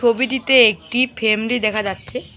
ছবিটিতে একটি ফেমলি দেখা যাচ্ছে।